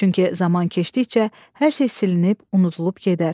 Çünki zaman keçdikcə hər şey silinib, unudulub gedər.